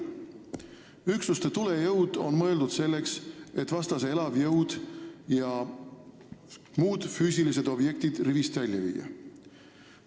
Üksuste tulejõud on mõeldud selleks, et vastase elavjõud ja muud füüsilised objektid rivist välja viia.